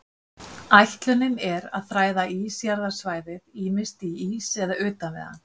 Ætlunin er að þræða ísjaðarsvæðið, ýmist í ís eða utan við hann.